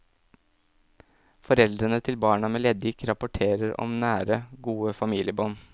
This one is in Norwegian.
Foreldrene til barna med leddgikt rapporterer om nære, gode familiebånd.